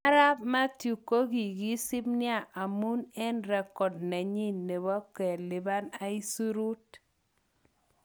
Arap Mathew kokokisip nia amun eng record nenyin nebo kelipan isurut.